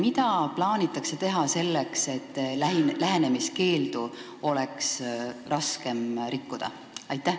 Mida plaanitakse teha selleks, et lähenemiskeeldu oleks raskem rikkuda?